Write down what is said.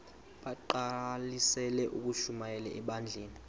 bagqalisele ukushumayela ebandleni